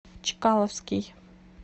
чкаловский